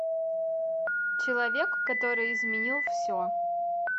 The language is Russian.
человек который изменил все